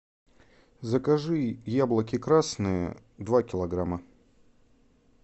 закажи яблоки красные два килограмма